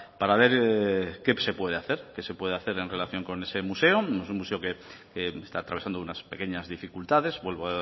para ver qué se puede hacer qué se puede hacer en relación con ese museo es un museo que está atravesando unas pequeñas dificultades vuelvo